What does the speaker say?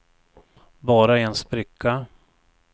bara en spricka